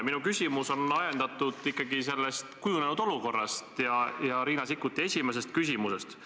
Minu küsimus on ajendatud ikkagi kujunenud olukorrast ja Riina Sikkuti esimesest küsimusest.